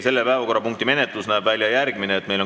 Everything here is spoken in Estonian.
Selle päevakorrapunkti menetlus näeb välja järgmine.